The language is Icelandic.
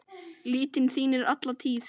litir þínir alla tíð.